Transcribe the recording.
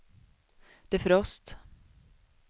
defrost